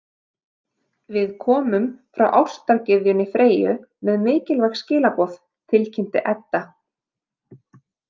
Við komum frá ástargyðjunni Freyju með mikilvæg skilaboð, tilkynnti Edda.